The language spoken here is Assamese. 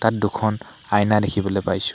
তাত দুখন আইনা দেখিবলৈ পাইছোঁ।